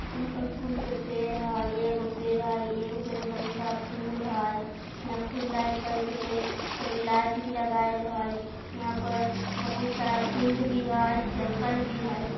यहां पर फूल के पेड़ हय एगो पेड़ हय एगो पेड़ में बहुत सारा फूल है यहां फूल लाइट करे के लेल एगो लाइट भी लगाएल हय यहां पर बहुत सारा फील्ड भी हय जंगल भी हय।